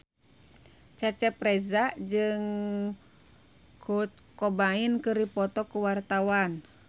Cecep Reza jeung Kurt Cobain keur dipoto ku wartawan